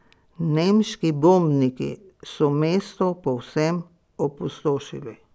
Nemški bombniki so mesto povsem opustošili.